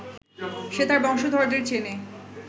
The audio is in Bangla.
সে তার বংশধরদের চেনে